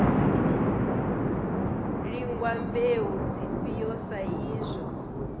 lingwa mbeu dzifhio sa izwo